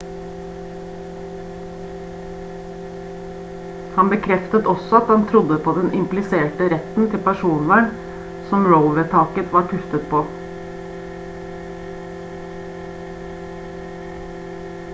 han bekreftet også at han trodde på den impliserte retten til personvern som roe-vedtaket var tuftet på